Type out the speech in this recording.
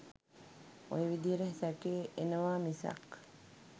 ඔය විදිහට සැකය එනවා මිසක්